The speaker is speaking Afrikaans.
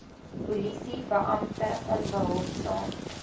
polisie beampte onbehulpsaam